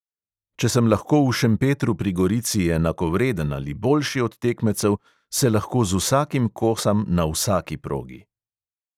Če sem lahko v šempetru pri gorici enakovreden ali boljši od tekmecev, se lahko z vsakim kosam na vsaki progi.